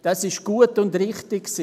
Das war gut und richtig.